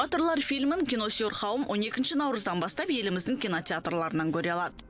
батырлар фильмін киносүйер қауым он екінші наурыздан бастап еліміздің кинотеатрларынан көре алады